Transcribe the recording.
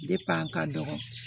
a ka dɔgɔ